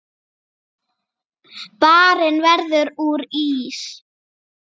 Barinn verður úr ís.